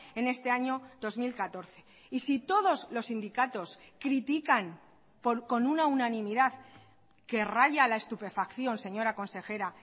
en este año dos mil catorce y si todos los sindicatos critican con una unanimidad que raya la estupefacción señora consejera